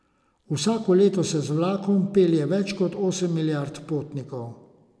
Vsako leto se z vlakom pelje več kot osem milijard potnikov.